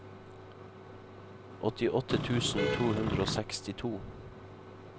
åttiåtte tusen to hundre og sekstito